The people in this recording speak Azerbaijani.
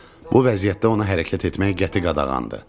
Bu vəziyyətdə ona hərəkət etmək qəti qadağandır.